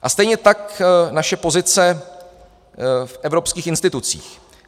A stejně tak naše pozice v evropských institucích.